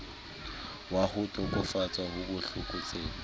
wa ho tokafatsa bo tlokotsebe